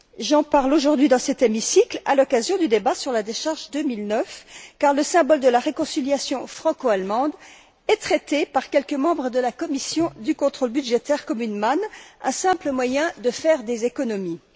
J'en parle aujourd'hui, dans cet hémicycle, à l'occasion du débat sur la décharge 2009 car le symbole de la réconciliation franco allemande est traité par quelques membres de la commission du contrôle budgétaire comme une manne, un simple moyen de faire des économies.